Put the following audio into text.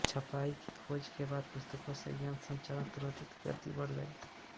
छपाई की खोज के बाद पुस्तकों से ज्ञानसंचार त्वरित गति से बढ़ गया था